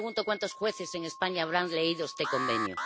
Yo me pregunto cuántos jueces en España habrán leído este Convenio.